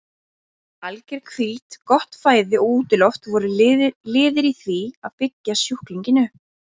Alger hvíld, gott fæði og útiloft voru liðir í því að byggja sjúklinginn upp.